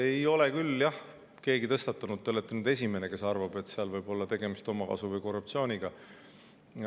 Ei ole küll keegi seda tõstatanud, te olete nüüd esimene, kes arvab, et seal võib olla tegemist omakasu või korruptsiooniga.